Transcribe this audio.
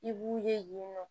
I b'u ye yen nɔ